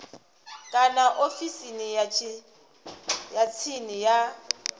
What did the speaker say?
kana ofisini ya tsini ya